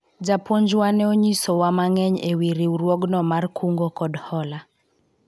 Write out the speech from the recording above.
japuonjwa ne onyiso wa mang'eny e wi riwruogno mar kungo kod hola